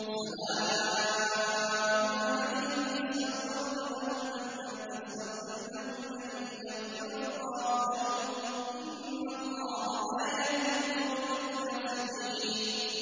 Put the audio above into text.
سَوَاءٌ عَلَيْهِمْ أَسْتَغْفَرْتَ لَهُمْ أَمْ لَمْ تَسْتَغْفِرْ لَهُمْ لَن يَغْفِرَ اللَّهُ لَهُمْ ۚ إِنَّ اللَّهَ لَا يَهْدِي الْقَوْمَ الْفَاسِقِينَ